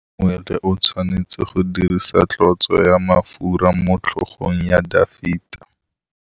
Samuele o tshwanetse go dirisa tlotsô ya mafura motlhôgong ya Dafita.